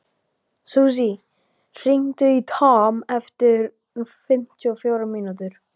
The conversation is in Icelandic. Susie, hringdu í Tom eftir fimmtíu og fjórar mínútur.